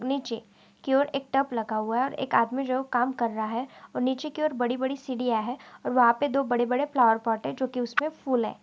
नीचे की और एक टप लगा हुआ है और एक आदमी जो काम कर रहा है और नीचे की और बड़ी-बड़ी सीढ़ियां है और वहां पे दो बड़े-बड़े फ्लावर पॉट है जो कि उसपे फूल है।